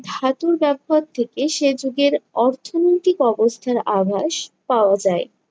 ধাতুর ব্যবহার থেকে সে যুগের অর্থনৈতিক অবস্থার আভাস পাওয়া যায়।